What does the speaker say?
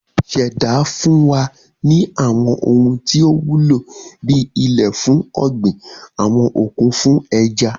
Ìṣẹ̀dá fún wa ní àwọn ohun tí ó wúlò bí ilẹ̀ fún ọ̀gbìn, àwọn òkun fún ẹja